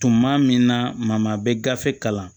Tuma min na maa bɛ gafe kalan